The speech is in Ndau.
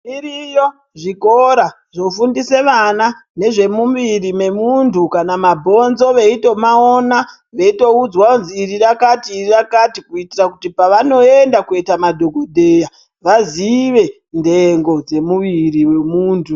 Iriyo zvikora zvofundise vana nezvemumiri memuntu kana mabhonzo veitomaona veitoudzwa kuti iri rakati iri rakati kuitira kuti pavanoenda koita madhokodheya vazive ndengo dzemuwiri wemuntu.